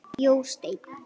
Jósteinn